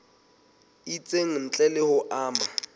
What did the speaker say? itseng ntle le ho ama